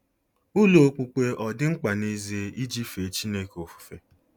Ụlọ okpukpe ọ̀ dị mkpa n'ezie iji fee Chineke ofufe?